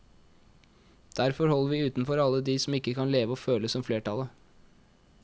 Derfor holder vi utenfor alle de som ikke kan leve og føle som flertallet.